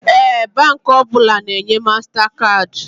Ee, Baankị ọbụla na enye mastakaadị